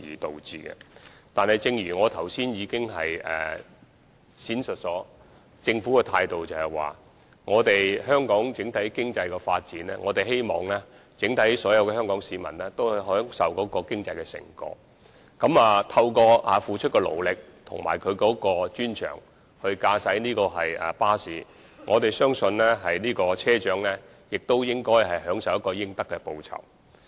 但是，正如我剛才闡述，政府的態度是，對於香港整體經濟的發展，我們希望所有香港市民均能享受經濟成果，而我們相信車長付出的勞力和駕駛巴士的專長，亦應享有應得的報酬。